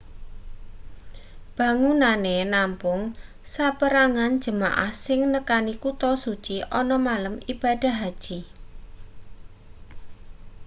bangunane nampung saperangan jemaah sing nekani kuta suci ana malem ibadah haji